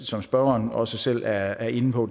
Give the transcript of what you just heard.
som spørgeren også selv er inde på